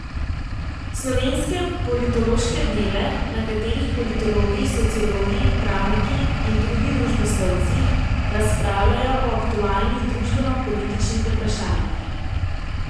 Slovenske politološke dneve, na katerih politologi, sociologi, pravniki in drugi družboslovci razpravljajo o aktualnih družbenopolitičnih vprašanjih.